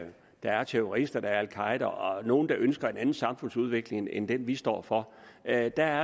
der er terrorister al qaeda og nogle der ønsker en anden samfundsudvikling end den vi står for er der